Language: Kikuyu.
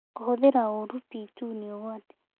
Kũhũthĩra uru p2 nĩ ũgwati.